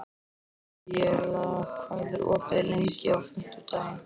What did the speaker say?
Aríela, hvað er opið lengi á fimmtudaginn?